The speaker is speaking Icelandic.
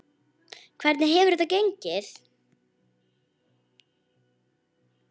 Hvernig hefur þetta gengið?